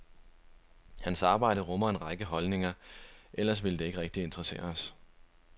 Hans arbejde rummer en række holdninger, ellers ville det ikke rigtig interessere os.